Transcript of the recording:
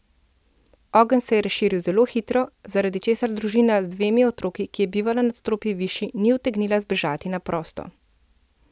Ogenj se je razširil zelo hitro, zaradi česar družina z dvemi otroki, ki je bivala nadstropje višje, ni utegnila zbežati na prosto.